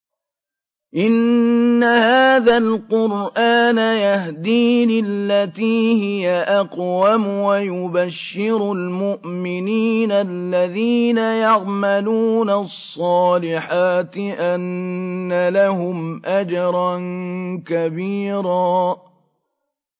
إِنَّ هَٰذَا الْقُرْآنَ يَهْدِي لِلَّتِي هِيَ أَقْوَمُ وَيُبَشِّرُ الْمُؤْمِنِينَ الَّذِينَ يَعْمَلُونَ الصَّالِحَاتِ أَنَّ لَهُمْ أَجْرًا كَبِيرًا